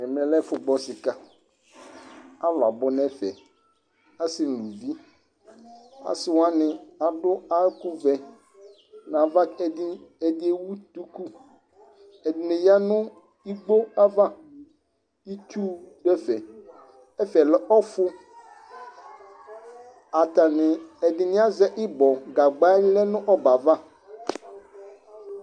Ɛmɛ lɛ ɛfu gbɔ sika Ãlu abu nu ɛfɛ: asi nu uluvi Asiwani ãdu ɛku vɛ nu ãvã Ɛdĩ ewu duku, ɛdini ya nu ikpó ãvã Itsu du ɛfɛ Ɛfɛ lɛ ɔfu Atani ɛdini asɛ íbɔ Gãgbã lɛ nu ɔbɛ yɛ ava